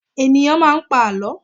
Ènìyàn máa ń pa àlọ́.